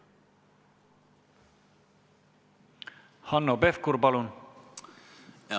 Hanno Pevkur, palun!